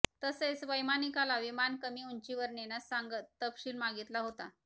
तसेच वैमानिकाला विमान कमी उंचीवर नेण्यास सांगत तपशील मागितला होता